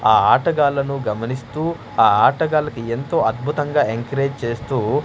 ఆ ఆటగాళ్లను గమనిస్తూ ఆ ఆటగాళ్లకి ఎంతో అద్భుతంగా ఎంకరేజ్ చేస్తూ.